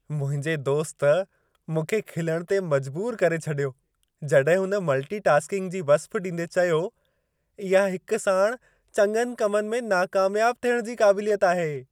मुंहिंजे दोस्त, मूंखे खिलण ते मजबूरु करे छॾियो जॾहिं हुन मल्टी-टास्किंग जी वस्फ़ ॾींदे चयो, इहा हिक साणि चङनि कमनि में नाकामियाब थियण जी क़ाबिलियत आहे।